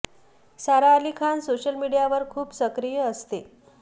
सारा Ali Khan social मीडियावर खूप सक्रिय असते